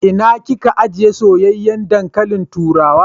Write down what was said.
Ina kin ka ajiye soyayyen dankalin turawa?